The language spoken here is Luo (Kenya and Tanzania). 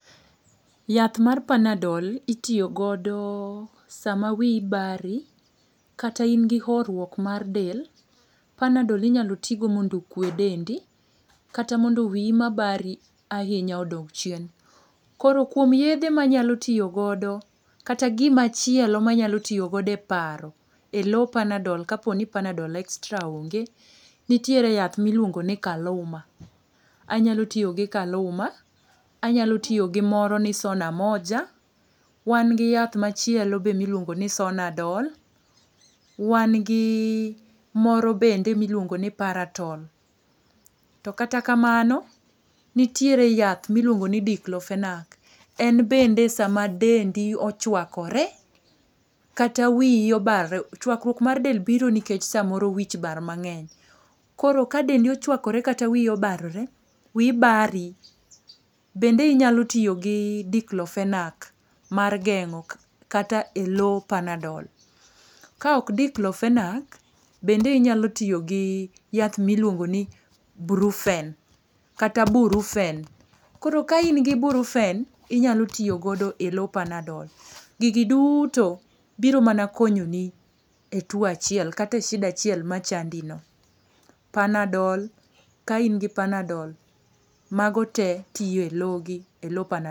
Yath mar panadol itiyo godo sa ma wiyi bari kata in gi hourwok mar dend, panadol inya ti go mondo okwe dendi kata mondo wiyi ma bari ahinya odog chien. Koro kuom yedhe ma anyalo tiyo go kata gi ma chielo ma anyalo tiyo e paro e lo panadol ka po ni panadol extra onge nitiere yath mi iluongo ni kaluma, anyalo tiyo gi kaluma, anyalo tiyo gi moro ma iluongo ni sonamoja, wan gi yath machielo be mi iluongo ni sonadol, wan gi moro bende mi iluongo ni paraton. To kata kamano nitiere yath mi iluongo ni diklofenak en bende sa ma dendi ochwakore kata wiyi obarore chwakruok mar del biro nikech sa moro wich bar mang'eny, koro ka dendi ochwakore kata wiyi obarore wiy bari bende inyalo tiyo gi diklofenak. Mar geng'o kata lo panadol, ka ok diklofenak bende inyalo tiyo gi yath mi iluongo ni brufen kata burufen inya tiyo go e lo panadol. Gigi duto biro mana konyo ni e two achiel kata e shida achiel ma chandi no, panadol, ka ingi panadol ma go te tiyo e lo gi e lo panadol.